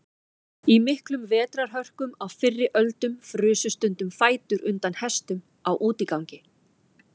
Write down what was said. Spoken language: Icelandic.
Í miklum vetrarhörkum á fyrri öldum frusu stundum fætur undan hestum á útigangi.